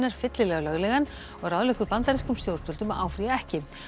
fyllilega löglegan og ráðleggur bandarískum stjórnvöldum að áfrýja ekki